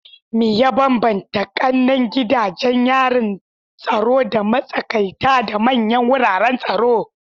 Me ya bambanta kananan gidajen yarin tsaro da matsakaita da manyan wuraren tsaro?